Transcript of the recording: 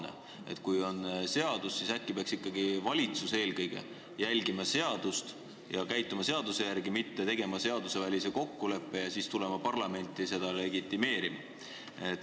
Kui meil kehtib mingi seadus, siis äkki peaks valitsus eelkõige järgima seadust ja selle järgi käituma, mitte tegema seadusvälise kokkuleppe ja siis tulema parlamenti seda legitimeerima?